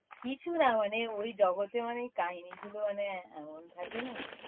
কিছু না মানে ঐ জগতে মানে কাহিনি গুলো মানে এমন থাকে না?